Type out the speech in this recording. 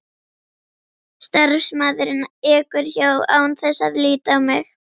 Starfsmaðurinn ekur hjá án þess að líta á mig.